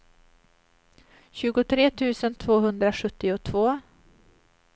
tjugotre tusen tvåhundrasjuttiotvå